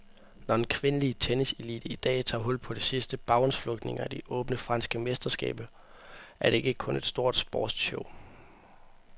Når den kvindelige tenniselite i dag tager hul på de sidste baghåndsflugtninger i de åbne franske mesterskaber, er det ikke kun et stort sportsshow.